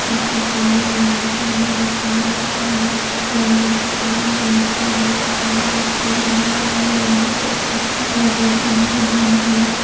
इस चित्र मे व्यायामशाला दिखाई दे रही है सामने की तरफ बहुत सारी मशीने रखी हुई लोग व्यायाम करते नजर आ रहे है।